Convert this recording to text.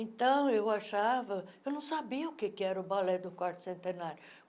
Então, eu achava... Eu não sabia o que era o balé do quarto centenário.